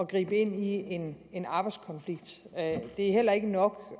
gribe ind i en en arbejdskonflikt det er heller ikke nok